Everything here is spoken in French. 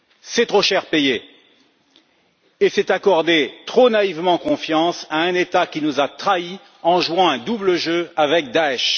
C'est trop cher payé et c'est faire trop naïvement confiance à un État qui nous a trahis, en jouant un double jeu avec Daesch.